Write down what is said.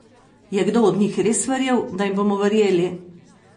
Je kdo od njih res verjel, da jim bomo verjeli?